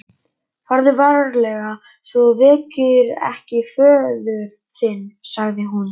Farðu varlega svo þú vekir ekki föður þinn, sagði hún.